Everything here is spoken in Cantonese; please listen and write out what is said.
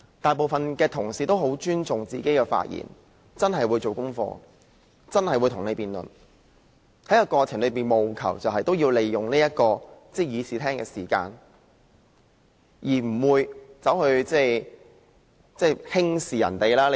大部分同事也很尊重自己的發言，真的會做足準備與大家辯論，在過程中務求善用議會的時間，而不會輕視別人。